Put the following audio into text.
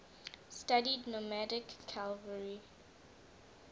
studied nomadic cavalry